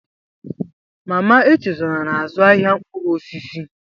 Mama Echezona na-azụ ahịa mkpụrụ osisi